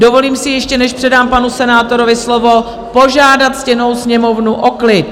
Dovolím si, ještě než předám panu senátorovi slovo, požádat ctěnou Sněmovnu o klid.